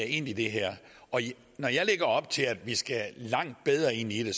ind i det her og når jeg lægger op til at vi skal langt bedre ind i det